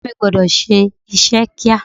Ọ̀rẹ́ mi gbọ́dọ̀ ṣe iṣẹ́ kíá.